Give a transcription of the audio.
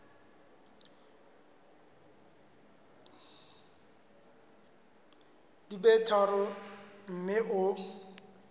di be tharo mme o